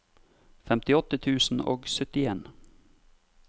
femtiåtte tusen og syttien